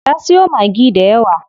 Ta siyo Maggi dayawa.